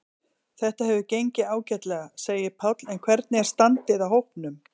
Þetta hefur gengið ágætlega, segir Páll en hvernig er standið á hópnum?